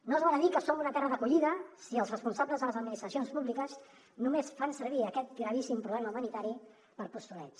no val dir que som una terra d’acollida si els responsables de les administracions públiques només fan servir aquest gravíssim problema humanitari per postureig